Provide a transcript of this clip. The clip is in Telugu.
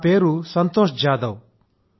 నా పేరు సంతోష్ జాదవ్